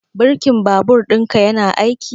Birkin babur ɗinka yana aiki?